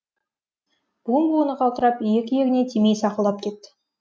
буын буыны қалтырап иек иегіне тимей сақылдап кетті